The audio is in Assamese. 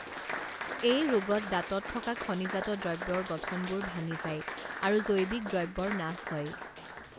এই ৰোগত দাঁতত থকা খনিজাত দ্ৰৱ্যৰ গঠনবোৰ ভাঙি যায় আৰু জৈৱিক দ্ৰব্যৰ নাশ হয়